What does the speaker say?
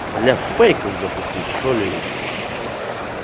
бля фейков запустить что-ли ебанный в рот